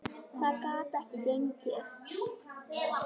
Það gat ekki gengið.